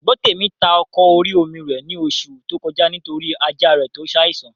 Gbọ́tèmi ta ọkọ̀ orí-omi rẹ̀ ní oṣù tó kọjá nítorí ajá rẹ̀ tó n saìsàn